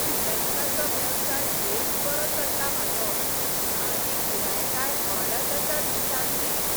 फ्रीलेन्साचो वेवसाय बेस बरो चल्ला म्हाजो, आनी गिरायकांय वाडत आसात दिसान दीस.